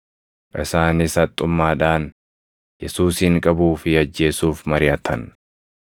Isaanis haxxummaadhaan Yesuusin qabuu fi ajjeesuuf mariʼatan.